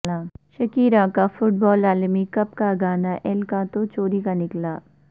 Shakira کا football عالمی cup کا گانا ایل کاتا چوری کا نکلا